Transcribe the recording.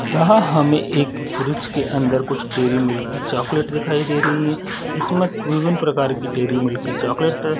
यहाँ हमें एक फ़्रीज के अंदर कुछ डेयरीमिल्की की चाकलेट दिखाई दे रही है इसमें विभिन्न प्रकार की डेयरीमिल्की की चाकलेट हैं ।